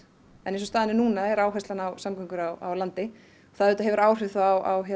en eins og staðan er núna er áherslan á samgöngur á landi það hefur þá áhrif á